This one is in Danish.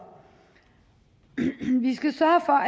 vi skal sørge for